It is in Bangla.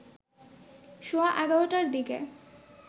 সোয়া ১১টার দিকে